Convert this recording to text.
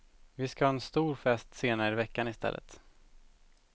Vi skall ha en stor fest senare i veckan i stället.